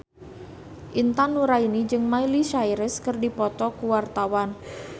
Intan Nuraini jeung Miley Cyrus keur dipoto ku wartawan